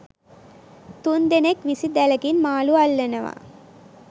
තුන් දෙනෙක් විසි දැලකින් මාළු අල්ලනවා